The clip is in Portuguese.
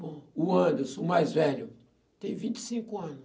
Bom, o Anderson, o mais velho, tem vinte e cinco ano.